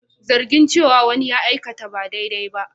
Zargi cewa wani ya aikata ba daidai ba.